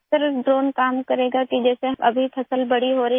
sir drone काम करेगा कि जैसे अभी फसल बड़ी हो रही है